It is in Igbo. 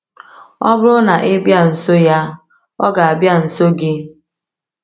Ọ bụrụ na ị bịa nso ya, ọ ga-abịa nso gị.